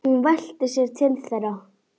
Hún velti sér til þeirra.